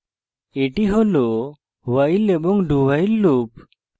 that হল while এবং dowhile loops